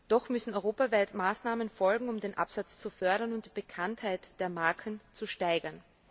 Doch müssen europaweit Maßnahmen folgen, um den Absatz zu fördern und die Bekanntheit der Marken zu steigern.